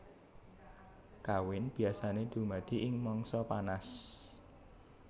Kawin biasané dumadi ing mangsa panas